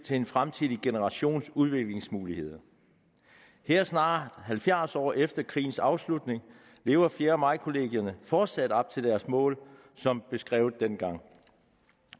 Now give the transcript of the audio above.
til en fremtidig generations udviklingsmuligheder her snart halvfjerds år efter krigens afslutning lever fjerde maj kollegierne fortsat op til deres formål som beskrevet dengang